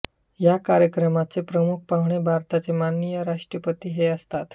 या कार्यक्रमाचे प्रमुख पाहुणे भारताचे माननीय राष्ट्रपती हे असतात